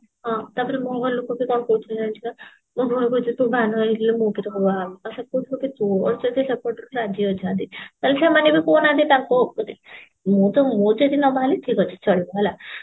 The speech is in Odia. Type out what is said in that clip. ହଁ ତାପରେ ମୋ ଘର ଲୋକବି କଣ କହୁଥିଲେ ଜାଣିଛୁ ନା ମୋ ଭଉଣୀ କହୁଛି ତୁ ବାହା ନହେଇଥିଲେ ମୁଁ ବି ପ୍ରୀତମ କୁ ବାହାହେବି ଆଉ ସେପଟରୁ ରାଜି ଅଛନ୍ତି ତାହାଲେ ସେମାନେ ବି କହୁନାହାନ୍ତି ତାଙ୍କୁ ମୁଁ ମୁଁ ଯଦି ନ ବାହାହେଲି ଠିକ ଅଛି ଚଳିବ ହେଲା